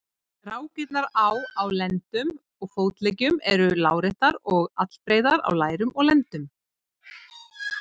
Rákirnar á á lendum og fótleggjum eru láréttar og allbreiðar á lærum og lendum.